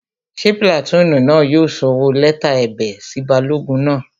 Ṣé pìlàtúùnù náà yóò sọwọ́ lẹ́tà ẹ̀bẹ̀ sí balógun náà?